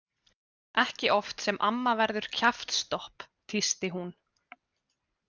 Ekki oft sem amma verður kjaftstopp, tísti hún.